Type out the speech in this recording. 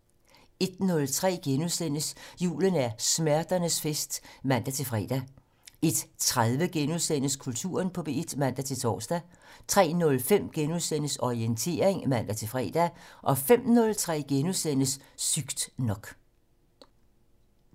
01:03: Julen er smerternes fest *(man-fre) 01:30: Kulturen på P1 *(man-tor) 03:03: Orientering *(man-fre) 05:03: Sygt nok *